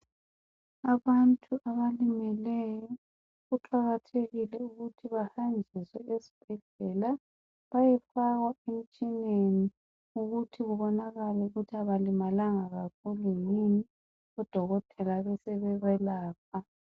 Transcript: Abantu abalimeleyo kuqakathekile ukuthi bahanjiswe esibhedlela bayefaka emtshineni ukuthi kubonakale ukuthi abalimalanga kakhulu yini, odokela besebeyelapha.